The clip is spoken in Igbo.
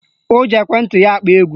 O ji ekwenti ya akpọ egwu